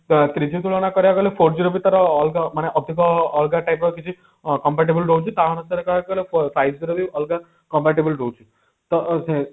ତ three G ତୁଳନା କରାଗଲେ four G ର ବି ତାର ଅଲଗା ମାନେ ଅଧିକ ଅଲଗା type ର କିଛି compare table ରହୁଛି କାରଣ ତାର କହିବାକୁ ଗଲେ price ରେ ବି ଅଲଗା compare table ରହୁଛି ତ ଅ